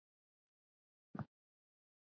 Hvernig leikstíl mun Ítalía spila?